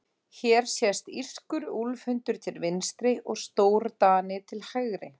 Hér sést írskur úlfhundur til vinstri og stórdani til hægri.